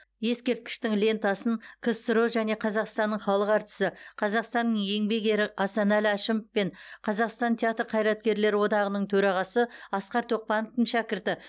ескерткіштің лентасын ксро және қазақстанның халық әртісі қазақстанның еңбек ері асанәлі әшімов пен қазақстан театр қайраткерлері одағының төрағасы асқар тоқпановтың шәкірті